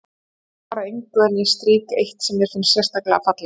Þau svara engu en ég strýk eitt sem mér finnst sérlega fallegt.